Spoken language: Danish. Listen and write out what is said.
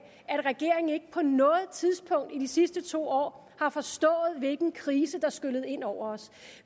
at regeringen ikke på noget tidspunkt i de sidste to år har forstået hvilken krise der skyllede ind over os